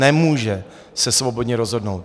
Nemůže se svobodně rozhodnout.